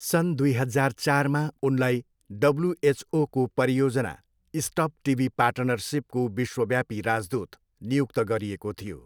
सन् दुई हजार चारमा उनलाई डब्लुएचओको परियोजना स्टप टिबी पार्टनरसिपको विश्वव्यापी राजदूत नियुक्त गरिएको थियो।